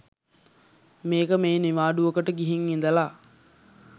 මේක මේ නිවාඩුවකට ගිහිං ඉදලා